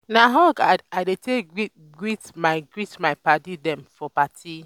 na hug i dey take greet my greet my paddy dem for party.